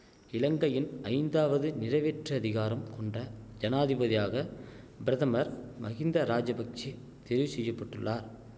இலங்கையின் ஐந்தாவது நிறைவேற்றதிகாரம் கொண்ட ஜனாதிபதியாக பிரதமர் மஹிந்தராஜபக்ஷ தெரிவுசெய்யப்பட்டுள்ளார்